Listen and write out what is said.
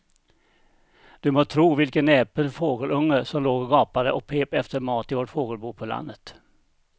Du må tro vilken näpen fågelunge som låg och gapade och pep efter mat i vårt fågelbo på landet.